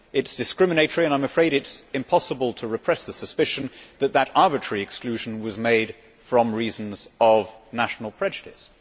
It is discriminatory, and I am afraid it is impossible to repress the suspicion that that arbitrary exclusion was made for reasons of national prejudice.